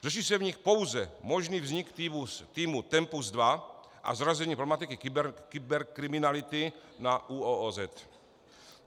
Řeší se v nich pouze možný vznik týmu TEMPUS 2 a zařazení problematiky kyberkriminality na ÚOOZ.